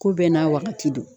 Ko bɛɛ n'a wagati don.